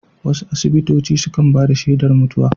Wasu asibitoci sukan bada shedar mutuwa